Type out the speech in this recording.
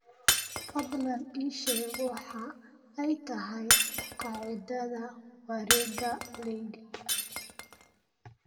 fadlan ii sheeg waxa ay tahay qaacidada wareegga leydiga